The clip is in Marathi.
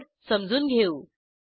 कोड समजून घेऊ